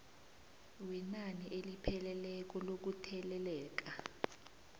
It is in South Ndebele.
wenani elipheleleko lokutheleleka